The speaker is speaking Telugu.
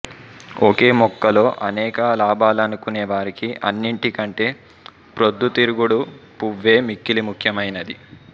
ఒకే మొక్కలో అనేక లాభాలనుకునేవారికి అన్నిటికంటే ప్రొద్దుతిరుగుడు పువ్వే మిక్కిలి ముఖ్యమైనది